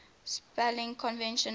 spelling convention known